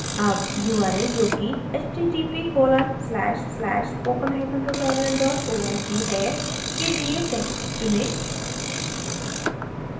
अब url जोकि